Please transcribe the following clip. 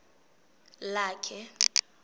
lakhe